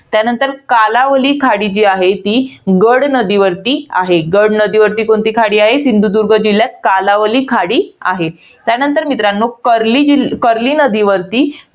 त्यानंतर कालावली जी खाडी आहे. ती गड नदीवरती आहे. गड नदीवरती कोणती खाडी आहे सिंधुदुर्ग जिल्ह्यात? कालावली खाडी आहे. त्यानंतर मित्रांनो, कर्ली जिल~ कर्ली नदीवरती,